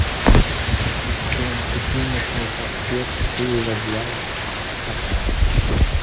ассистент купи мясной паштет шеба для кота